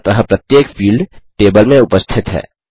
अतः प्रत्येक field table में उपस्थित है